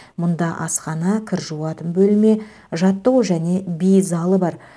мұнда асхана кір жуатын бөлме жаттығу және би залы бар